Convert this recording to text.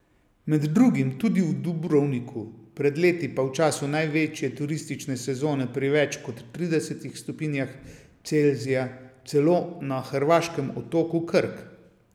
Med drugim tudi v Dubrovniku, pred leti pa v času največje turistične sezone pri več kot tridesetih stopinjah Celzija celo na hrvaškem otoku Krk.